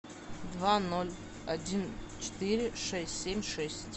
два ноль один четыре шесть семь шесть